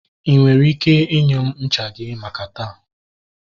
I nwere ike inye m ncha gị maka taa?